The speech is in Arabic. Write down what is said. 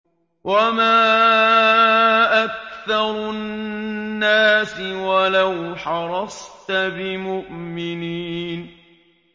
وَمَا أَكْثَرُ النَّاسِ وَلَوْ حَرَصْتَ بِمُؤْمِنِينَ